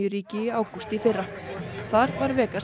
ríki í ágúst í fyrra þar var Vegas